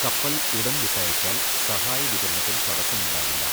കപ്പൽ ഉടൻ വിട്ടയച്ചാൽ സഹായ വിതരണത്തിൽ തടസ്സമുണ്ടാകില്ല.